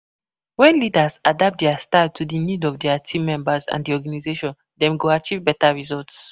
When leaders adapt dia style to di need of dia team members and di organization, dem go achieve beta results.